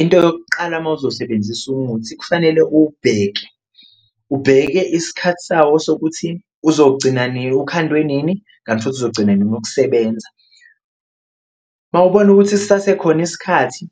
Into yokuqala uma uzosebenzisa umuthi kufanele uwubheke ubheke isikhathi sawo sokuthi uzogcina ukhandwe nini, kanti futhi uzogcina nini ukusebenza, uma ubona ukuthi sisasekhona isikhathi